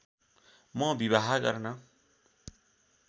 म विवाह गर्न